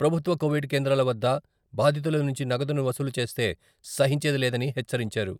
ప్రభుత్వ కోవిడ్ కేంద్రాల వద్ద బాధితుల నుంచి నగదును వసూలు చేస్తే సహించేది లేదని హెచ్చరించారు.